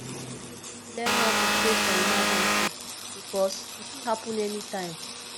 learn how to save for emergency bikos e fit hapun anytine